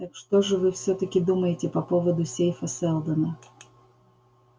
так что же вы всё-таки думаете по поводу сейфа сэлдона